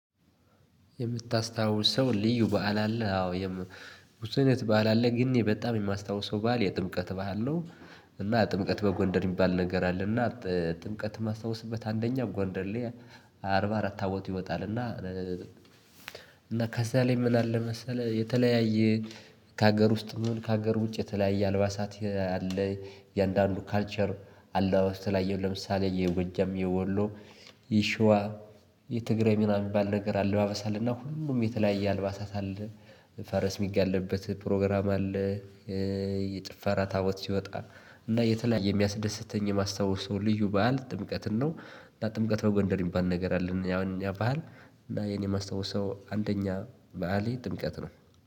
የምታስታውሰው ልዩ በዓል አለ አዎ የም ብዙ አይነት በዓል አለ ግን በጣም የማስታውሰው በዓል የጥምቀት ባዓል ነው። እና ጥምቀት በጎንደር የሚባል ነገር አለ እና ጥምቀት የማስታውስበት አንደኛ ጎንደር አርባ አራት ታቦት ይወጣል። እና እና ከዛ ላይ ምን አለ መሰለህ? የተለያየ ከሀገር ውስጥም ይሁን ከሀገር ውጭ የተለያየ አልባሳት አለ። የእያንዳንዱ ካልቸር አለባብሰ ውስጥ ተለያየ ለምሳሌ የጎጀም የወሎ የሸዋ የትግራይ ምናምን የሚባል ነገር አለባበስ እና ሁሉም የተለያየ አልባሳት አለ። ፈረስ የሚጋልብበት ፕሮግራም አለ። የጭፈራ ታቦት ሲወጣ እና የተለያየ የሚያስደስተኝ የማስታወሰው ልዩ በዓል ጥምቀትን ነው። እና ጥምቀት በጎንደር የሚባል ነገር አለን ያው የኛ በሀል እና የኔ የማስታውስ ሰው አንደኛ በዓሌ ጥምቀት ነው።